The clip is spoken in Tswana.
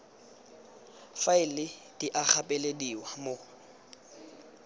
faela di a gapelediwa mo